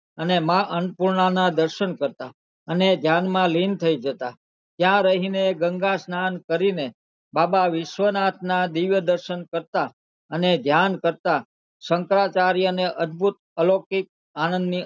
ના દર્શન કરતા અને ધ્યાન માં લીન થઇ જતા ત્યાં રહી ને ગંગા સ્નાન કરી ને બાબા વિશ્વનાથ ના દિવ્ય દર્શન કરતા અને ધ્યાન કરતા શંકરાચાર્ય ના અધભૂત અલોકિક આનંદ ના